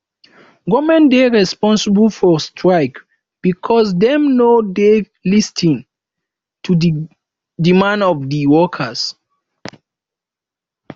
government dey responsible for strike because dem no dey lis ten to di demands of di workers